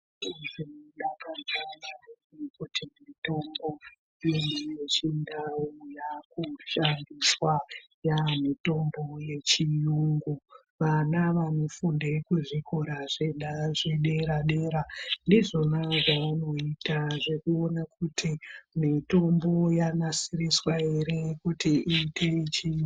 Mazuwa ano makambozviona ere kuti mitombo yedu yechindau yakushandiswa yaamitombo yechiyungu. Vana vanofunde kuzvikora zvedera dera ndizvona zvavanoita zvekuona kuti mitombo yanasiriswa ere kuti iite yechiyungu.